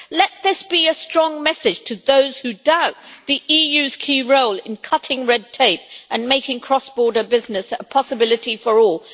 Let this be a strong message to those who doubt the EU's key role in cutting red tape and making cross-border business a possibility for all.